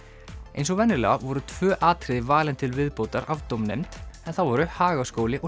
eins og venjulega voru tvö atriði valin til viðbótar af dómnefnd það voru Hagaskóli og